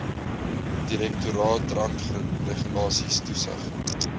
direktoraat drankregulasies toesig